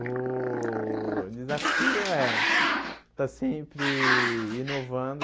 O desafio é estar sempre inovando.